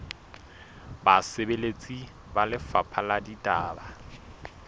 basebeletsi ba lefapha la ditaba